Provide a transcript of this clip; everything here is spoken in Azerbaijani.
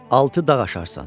Altı dağ aşarsan.